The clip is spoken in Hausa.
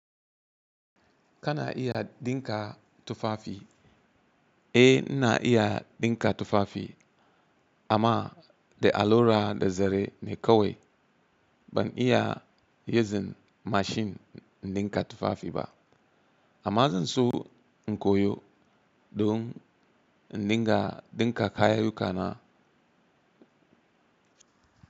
Kana iya ɗinka tufafi? Eh, ina iya ɗinka tufafi amma da allura da zare ne kawai. Ban iya using mashin ɗinka tufafi ba, amma zan so in koyo don in ɗinka kayayyukana.